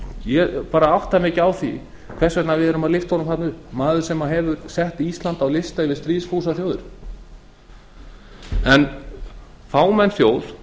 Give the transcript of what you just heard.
ég átta mig ekki á því hvers vegna við lyftum honum þarna upp manni sem setti ísland á lista yfir stríðsfúsar þjóðir fámenn þjóð